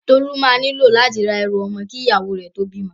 Tolú máa nílò láti ra ẹrù ọmọ kí ìyàwó rẹ̀ tó bímọ.